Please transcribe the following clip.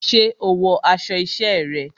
Ṣé o wọ aṣọ isẹ́ rẹ?